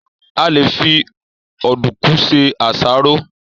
A lè fi Ọ̀dùnkún se àsáró